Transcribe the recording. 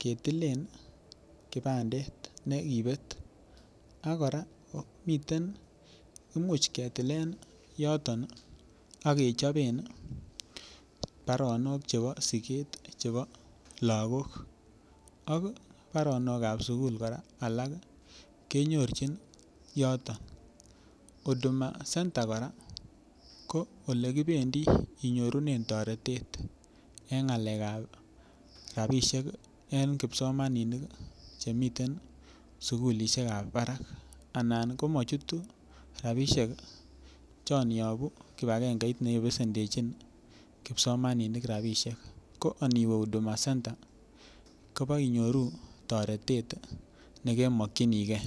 ketilen kibandet nekibet ak kora Imuch ketilen ak kechoben baronok chebo siget chebo lagok ak baronok ab sukul kora alak kenyorchin yoton huduma center kora ko ole kibendi inyorunen toretet en ngalek ab rabisiek en kipsomaninik chemiten sukulisiek ab barak anan komochutu rabisiek chon yobu kibagengeit ne besendechin kipsomaninik rabisiek ko Ani we huduma center kobo inyoru toretet ne kemokyinige